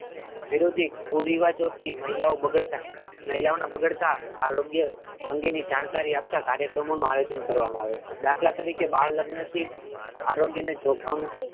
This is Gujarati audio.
વિરોધી કુરિવાજો થી મહિલાઓ બગડતા મહિલાઓ ના બગડતા આરોગ્ય અંગે ની જાણકારી આપતા કાર્યક્રમો નુ આયોજન કરવા મા આવે છે દાખલા તરીકે બાળ લગ્ન થી આરોગ્ય ને જોખમ,